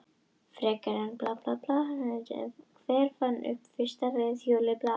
Frekara lesefni af Vísindavefnum: Hver fann upp fyrsta reiðhjólið?